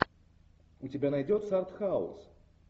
у тебя найдется артхаус